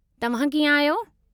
तव्हां कीअं आहियो?